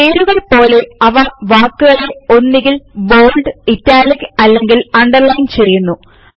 പേരുകൾ പോലെ അവ വാക്കുകളെ ഒന്നുകിൽ ബോള്ഡ്ഇറ്റാലിക്ക് അല്ലെങ്കിൽ ആണ്ടെർലൈൻ ചെയ്യുന്നു